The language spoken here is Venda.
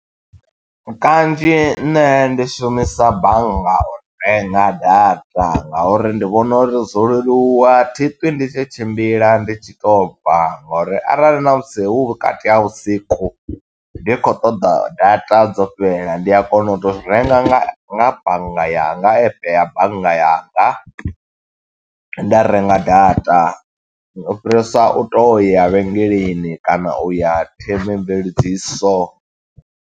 Kanzhi nṋe ndi shumisa bannga u renga data, nga uri ndi vhona uri dzo leluwa. Thi ṱwi ndi tshi tshimbila ndi tshi to bva, ngo uri arali na musi hu vhukati ha vhusiku, ndi khou ṱoḓa data dzo fhela ndi a kona u to u renga nga bannga yanga, nga epe ya bannga yanga, nda renga data. U fhirisa u toya vhengeleni, kana u ya themamveledziso.